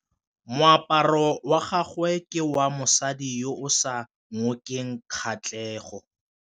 Moaparô wa gagwe ke wa mosadi yo o sa ngôkeng kgatlhegô.